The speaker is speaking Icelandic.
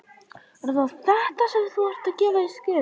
Er það þetta, sem þú ert að gefa í skyn?